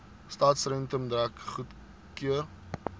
stadsentrum dek goedgekeur